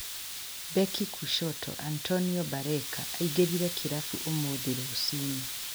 Beki Kushoto Antonio Barreca engerire kĩrabu umuthĩ rucinĩ